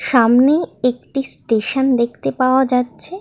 সামনে একটি স্টেশন দেখতে পাওয়া যাচ্ছে ।